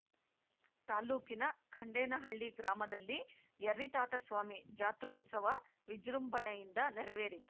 ತಾಲೂಕಿನ ಖಂಡೇನಹಳ್ಳಿ ಗ್ರಾಮದಲ್ಲಿ ಯರ್ರಿತಾತಸ್ವಾಮಿ ಜಾತ್ರೋತ್ಸವ ವಿಜೃಂಭಣೆಯಿಂದ ನೆರವೇರಿತು